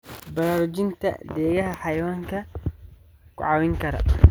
Baraarujinta Deegaanka Xayawaanka ayaa ku caawin kara.